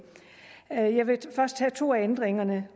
jeg vil først tage to af ændringerne